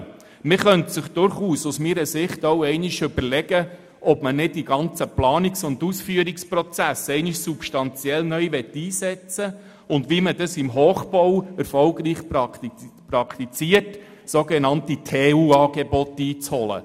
Aus meiner Sicht könnte man sich durchaus überlegen, die ganzen Planungs- und Ausführungsprozesse substanziell neu einzusetzen und – wie im Hochbau erfolgreich praktiziert – sogenannte TU-Angebote einzuholen.